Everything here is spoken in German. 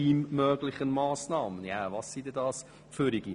Welche Massnahmen sind es denn?